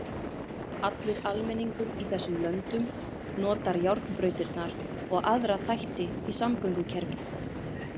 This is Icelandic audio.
Allur almenningur í þessum löndum notar járnbrautirnar og aðra þætti í samgöngukerfinu.